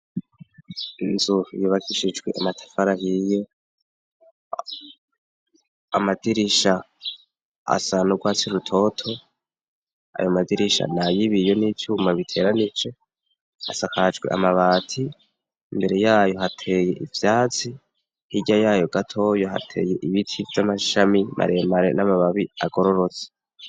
Inzu yubakishijwe amatafari ahiye. Amadirisha asa n'urwatsi rutoto. Ayo madirisha ni ayo ibiyo n'ivyuma biteranije, isakajwe amabati. Imbere yayo hateye ivyatsi hirya yayo gatoya, hateye ibiti vy'amashami maremare n'amababi agororotse.